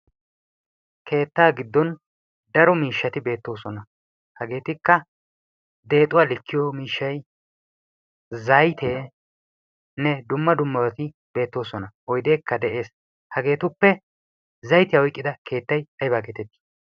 keettaa giddon daro miishshati beettoosona. hageetikka deexuwaa likkiyo miishshay zayteenne dumma dummaati beettoosona oideekka de'ees. hageetuppe zaytiyaa oyqqida keettai aybaageetettii?